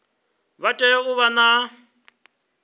vha tea u vha na